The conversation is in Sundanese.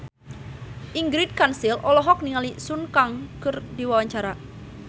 Ingrid Kansil olohok ningali Sun Kang keur diwawancara